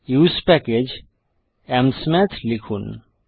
usepackage amsmath লিখুন